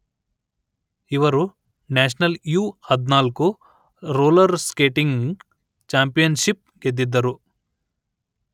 ಇವರು national U ಹದಿನಾಲ್ಕು roller skating championship ಗೆದ್ದಿದ್ದರು